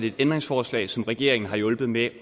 et ændringsforslag som regeringen har hjulpet med